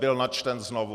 Byl načten znovu.